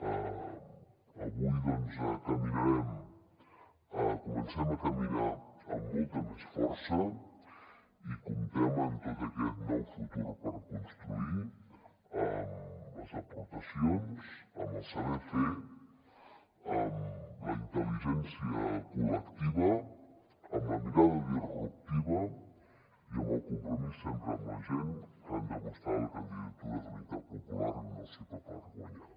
avui doncs comencem a caminar amb molta més força i comptem amb tot aquest nou futur per construir amb les aportacions amb el saber fer amb la intel·ligència col·lectiva amb la mirada disruptiva i amb el compromís sempre amb la gent que ha demostrat la candidatura d’unitat popular un nou cicle per guanyar